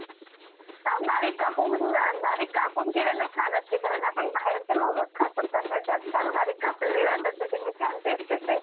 पंधरा minute च्या chat pattern वरती आपण market बद्दलचा view काये? कि market either ह्या line च्या वरती जाईल किंवा इथे sideway जाईल.